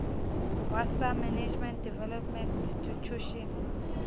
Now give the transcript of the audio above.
wa sa management development intitution